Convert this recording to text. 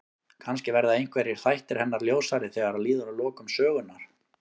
Kannski verða einhverjir þættir hennar ljósari þegar líður að lokum sögunnar.